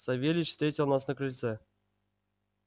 савельич встретил нас на крыльце